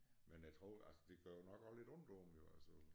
Men jeg tror altså det gør jo nok også lidt ondt på dem altså